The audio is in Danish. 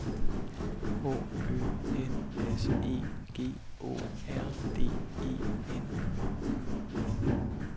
H Ø N S E G Å R D E N